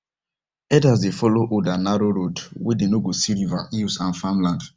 herders dey follow old and narrow road where them go see rivers hills and farmland